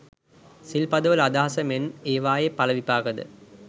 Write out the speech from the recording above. සිල් පදවල අදහස මෙන්ම ඒවායේ ඵල විපාකද